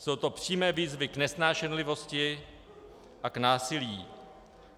Jsou to přímé výzvy k nesnášenlivosti a k násilí.